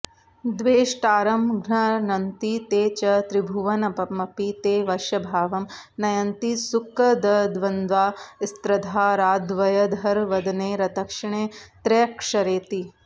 द्वेष्टारं घ्नन्ति ते च त्रिभुवनमपि ते वश्यभावं नयन्ति सृक्कद्वन्दास्रधाराद्वयधरवदने दक्षिणे त्र्यक्षरेति